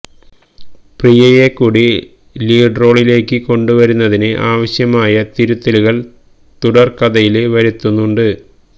പ്രിയയെ കൂടി ലീഡ് റോളിലേക്ക് കൊണ്ടുവരുന്നതിന് ആവശ്യമായ തിരുത്തലുകള് തിരക്കഥയില് വരുത്തുന്നുണ്ട്